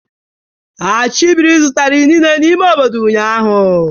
Achibiri zụtara inine n'ime obodo ụnyahụ.